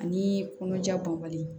Ani kɔnɔja banbali